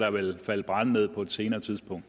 falde brænde ned på et senere tidspunkt